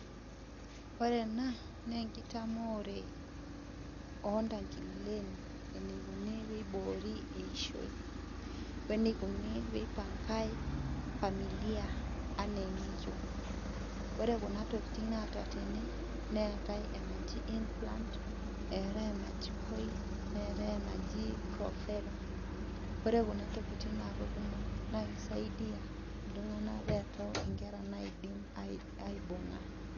Ore ena, naa enkitamoore oontankilen, enikuninpeiboori eishoi. Wenikuni peipankae familia, enaa eniyieu. Ore kuna tokiting naata tene, neetae anaji in plant, eetae enaji coil, neetae enaji profera. Ore kuna tokiting naa kakumok, na kisaidia iltung'anak peto inkera naidim aibung'a.